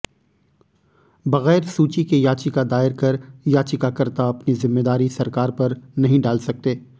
बगैर सूची के याचिका दायर कर याचिकाकर्ता अपनी जिम्मेदारी सरकार पर नहीं डाल सकते